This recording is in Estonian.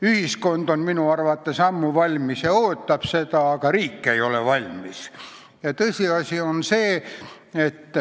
Ühiskond on minu arvates ammu valmis ja ootab seda, aga riik ei ole valmis.